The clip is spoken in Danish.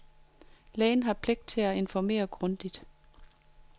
Lægen har pligt til at informere grundigt.